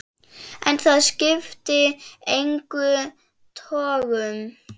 En það skipti engum togum.